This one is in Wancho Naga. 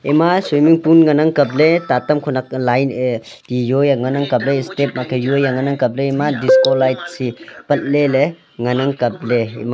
ema swimming pool ngan ang kapley tatam khonak line ye tijoe ngan kapley step angkhe juei ngan ang kapley disco light si patle le ngan ang kapley ema.